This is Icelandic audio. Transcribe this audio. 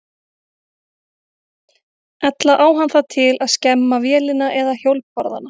Ella á hann það til að skemma vélina eða hjólbarðana.